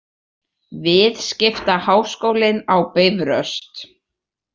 Viðskiptaháskólinn á Bifröst.